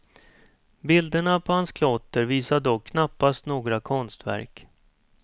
Bilderna på hans klotter visar dock knappast några konstverk.